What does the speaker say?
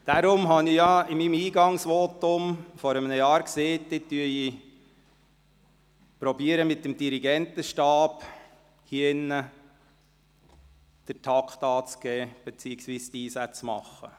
Deshalb sagte ich bei meinem Eingangsvotum vor einem Jahr, ich würde hier drin mit dem Dirigentenstab den Takt beziehungsweise die Einsätze vorzugeben versuchen.